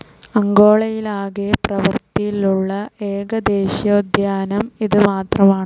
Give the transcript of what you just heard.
അങ്കോളയിലാകെ പ്രവർത്തിലുള്ള ഏക ദേശീയോദ്യാനം ഇതു മാത്രമാണ്.